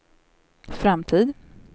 framtid